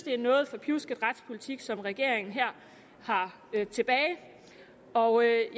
en noget forpjusket retspolitik som regeringen her har tilbage og jeg